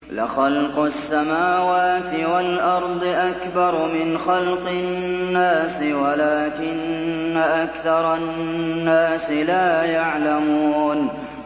لَخَلْقُ السَّمَاوَاتِ وَالْأَرْضِ أَكْبَرُ مِنْ خَلْقِ النَّاسِ وَلَٰكِنَّ أَكْثَرَ النَّاسِ لَا يَعْلَمُونَ